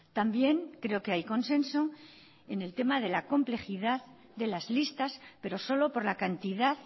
también creo que hay consenso en el tema de la complejidad de las listas pero solo por la cantidad